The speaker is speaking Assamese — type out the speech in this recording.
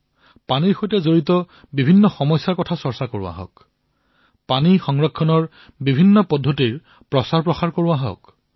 ইয়াত পানীৰ সৈতে জড়িত সমস্যাৰ বিষয়ে কোৱা হওক লগতে পানী সংৰক্ষণ কৰাৰ বিভিন্ন প্ৰকাৰৰ প্ৰচাৰ কৰা হওক